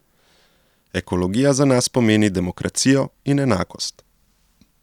Ekologija za nas pomeni demokracijo in enakost.